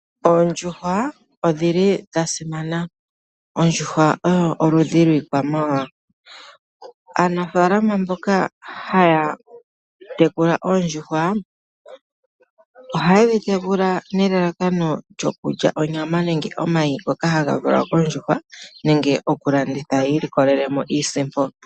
Oondjuhwa odhi li dha simana. Ondjuhwa oyo oludhi lwiikwamawawa. Aanafalama mboka haya tekula oondjuhwa, ohaye dhi tekula nelalakano lyokulya onyama nenge omayi ngoka haga valwa kondjuhwa nenge okulanditha yi ilikolele mo iisipo.